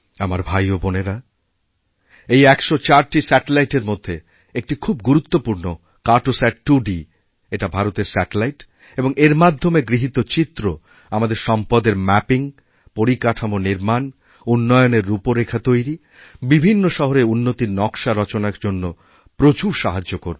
আমার ভাই ও বোনেরা এই ১০৪টি স্যাটেলাইটের মধ্যে একটি খুব গুরুত্বপূর্ণ কার্টোস্যাট 2D এটা ভারতের স্যাটেলাইট এবংএর মাধ্যমে গৃহীত চিত্র আমাদের সম্পদের ম্যাপিং পরিকাঠামো নির্মাণ উন্নয়নেররূপরেখা তৈরি বিভিন্ন শহরের উন্নতির নক্শা রচনার জন্য প্রচুর সাহায্য করবে